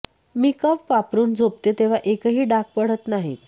मी cup वापरून झोपते तेव्हा एकही डाग पडत नाही